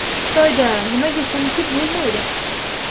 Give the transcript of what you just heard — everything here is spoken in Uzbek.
Xitoyda nimaga ko‘nikib bo‘lmaydi?